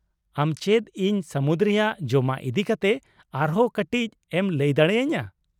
ᱟᱢ ᱪᱮᱫ ᱤᱧ ᱥᱟᱹᱢᱩᱫ ᱨᱮᱭᱟᱜ ᱡᱚᱢᱟᱜ ᱤᱫᱤ ᱠᱟᱛᱮ ᱟᱨᱦᱚᱸ ᱠᱟᱹᱴᱤᱡ ᱮᱢ ᱞᱟᱹᱭ ᱫᱟᱲᱮ ᱟᱹᱧᱟᱹ ?